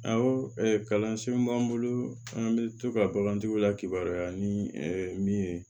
Awɔ kalansenw b'an bolo an bɛ to ka bakantigiw lakibaya ni min ye